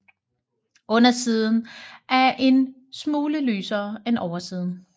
Undersiden er en smule lysere end oversiden